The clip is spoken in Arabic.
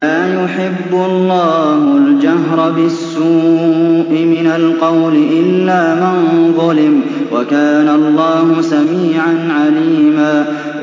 ۞ لَّا يُحِبُّ اللَّهُ الْجَهْرَ بِالسُّوءِ مِنَ الْقَوْلِ إِلَّا مَن ظُلِمَ ۚ وَكَانَ اللَّهُ سَمِيعًا عَلِيمًا